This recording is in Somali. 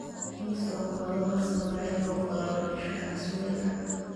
ii soo qaado hal sabayad oo qallalan iyo shah casmali ahh